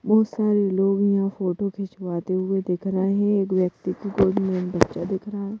बहुत सारे लोग यहाँ फोटो खिंचवाते हुए दिख रहे हैं एक व्यक्ति की गोद में बच्चा दिख रहा है।